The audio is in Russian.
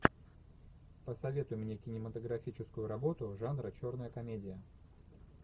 посоветуй мне кинематографическую работу жанра черная комедия